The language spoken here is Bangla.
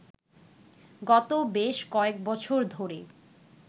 গত বেশ কয়েকবছর ধরে